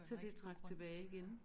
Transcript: Så det trak tilbage igen